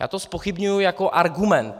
Já to zpochybňuji jako argument.